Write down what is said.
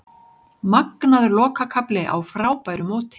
Magnaður lokakafli á frábæru móti